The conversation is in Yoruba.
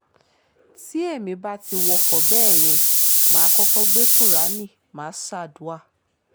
tí èmi bá ti wọkọ̀ bẹ́ẹ̀ yẹn mà á kọ́kọ́ gbé kúráánì má a ṣàdùà